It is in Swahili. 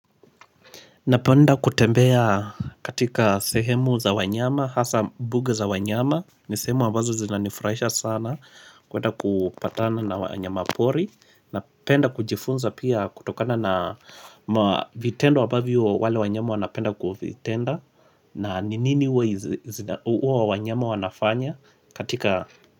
Napenda kutembea katika sehemu za wanyama, hasaa mbuga za wanyama, ni sehemu ambazo zinanifurahisha sana, kuenda kupatana na wanyama pori, napenda kujifunza pia kutokana na vitendo ambavyo wale wanyama wanapenda kuvitenda. Na ni nini huwa wanyama wanafanya katika.